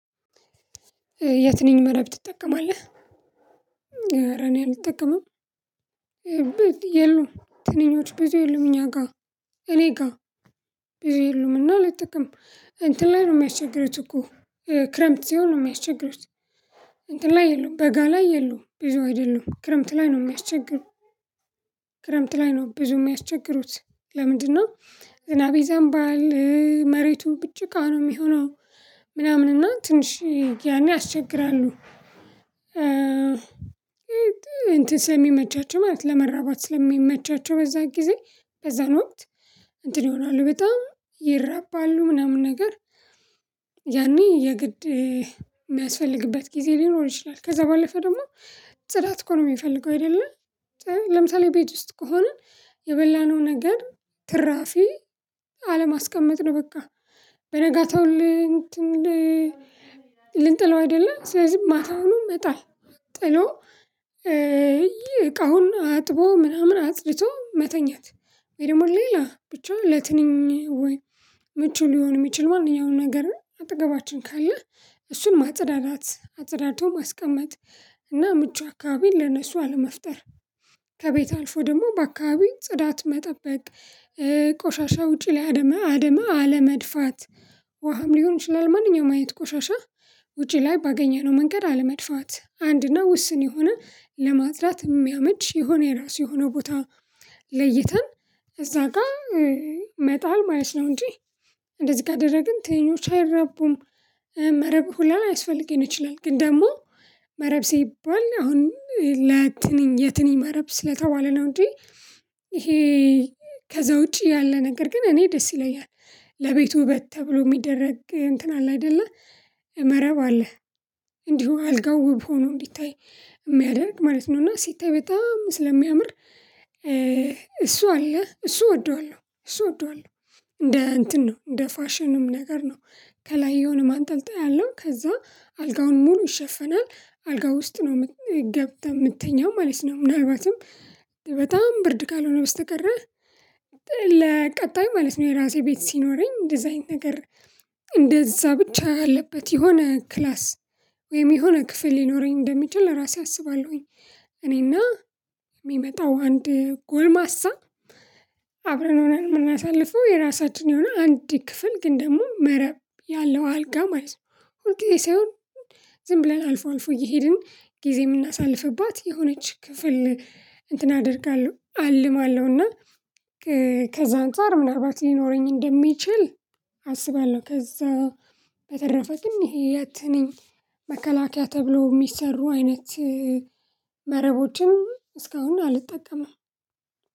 የትኔን መረብ ትጠቀማለህ? አረ እኔ አልጠቀምም። የሉም ትንኞቹ በዚህ የሉም እኛ ጋር እኔ ጋር ብዙ የሉም እና አልጠቀምም እንትን ላይ ነው የሚያስቸግሩት እኮ። ክረምት ሲሆን ነው የሚያስቸግሩት። እንትን ላይ የሉም በጋ ላይ የሉም ብዙ አይደሉም ክረምት ላይ ነው የሚያስቸግሩት። ክረምት ላይ ነው ብዙ የሚያስቸግሩት ለምንድነው? ዝናብ ይዘንባል መሬቱን ጭቃ ነው የሚሆነው። ምናምን እና ትንሽ ያኔ ያስቸግራሉ። እንትን ሰለሚመቻቸው ማለት ለመራባት ስለሚመቻቸው በዛ ጊዜ በዛን ወቅት እንትን ይሆናሉ በጣም ይረባሉ ምናምን ነገር ያኔ የግድ የሚያስፈልግበት ጊዜ ሊኖር ይችላል። ከዛ ባለፈ ደግሞ ጽዳት እኮ ነው የሚፈልገው አይደለም። ለምሳሌ ቤት ውስጥ ከሆነ የበላነው ነገር ትራፊ አለማስቀመጥ ነው በቃ። በነጋታው ልንጥለው አይደለም ስለዚህ ማታውንም መጣል ጥሎ እቃውን አጥቦ ምናምን አጽድቶ መተኛት ወይ? ደግሞ ሌላ ብቻ ለትንኝ ወይ ምቹ ሊሆን የሚችል ማንኛውንም ነገር አጠገባችን ካለ እሱን ማጽዳዳት አጽዳቶ ማስቀመጥ። እና ምቹ አካባቢን ለነሱ አለመፍጠር። ከቤት አልፎ ደግሞ በአካባቢው ጽዳት መጠበቅ ቆሻሻ ውጪ ላይ አድማ አድማ አለመድፋት። ውሀም ሊሆን ይችላል ማንኛውም ቆሻሻ ውጪ ላይ ባገኘነው መንገድ አለመድፋት እና ውስን የሆነ ለማጽዳት የሚመች የሆነ የራሱ ለይተን እዛ ጋር መጣል ማለት ነው። እንጂ እንደዚህ ጋር ካደረግን ትንኞች አይራቡም። መረብ ሁላ ላያስፈልግም ይችላል። ግን ደግሞ መረብ ሲባል አሁን ለትንኝ የትንኝ መረብ ስለተባለ ነው እንጂ ይሄ ከዛ ውጪ ያለ ነገር ግን እኔ ደስ ይለኛል። ለቤቱ ውበት ተብሎ የሚደረግ እንትን አለ አይደለ? መረብ አለ። እንዲሁ አልጋው ውብ ሆኖ እንዲታይ የሚያደርግ ማለት ነው። እና ሲታይ በጣም ስለሚያምር እሱ አለ እሱ እወደዋለሁ። እሱ እንደ እንትን ነው እንደ ፋሽንም ነገር ነው። ከላይ የሆነ ማንጠልጠያ ያለው ከዛ አልጋውን ሙሉ ይሸፍናል አልጋው ውስጥ ነው የምትገብተው ምንትኛው ማለት ነው። ምናልባትም በጣም ብርድ ካልሆነ በስተቀር። ለቀጣይ ማለት ነው የራሴ ቤት ሲኖረኝ እንደዛ አይነት ነገር እንደዛ ብቻ አለበት የሆነ ክላስ ወይም የሆነ ክፍል ሊኖረኝ እንደሚችል ራሴ አስባለሁኝ። እኔና የሚመጣው አንድ ጎልማሳ አብረን ሆነን የምናሳልፈው የራሳችን የሆነ አንድ ክፍል ግን ደግሞ መረብ ያለው አልጋ ማለት ነው። ወደ ሳይሆን ዝም ብለን አልፎ አልፎ እየሄድን ጊዜ የምናሳልፍባት የሆነች ክፍል እንትን አደርጋለሁ አልማለሁ እና። ከዛ አንፃር ምናልባት ሊኖረኝ እንደሚችል አስባለሁ። ከዛ በተረፈ ግን ይሄ የትንኝ መከላከያ ተብሎ የሚሰሩ አይነት መረቦችን እስካሁን አልጠቀምም።